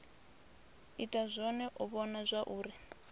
ita zwone u vhona zwauri